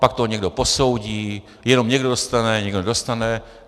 Pak to někdo posoudí, jenom někdo dostane, někdo nedostane.